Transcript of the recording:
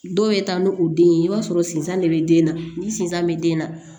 Dɔw bɛ taa n'u den ye i b'a sɔrɔ sinzan de be den na ni sinzan be den na